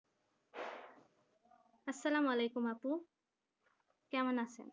আসসালামু আলাইকুম আপু কেমন আছেন